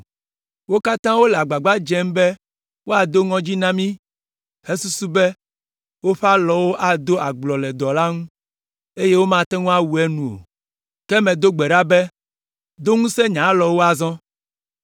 Wo katã wole agbagba dzem be woado ŋɔdzi na mí hesusu be, “Woƒe alɔwo ado agblɔ le dɔ la ŋu, eye womate ŋu awu enu o.” Ke medo gbe ɖa be, “Do ŋusẽ nye alɔwo azɔ.”